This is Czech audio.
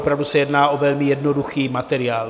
Opravdu se jedná o velmi jednoduchý materiál.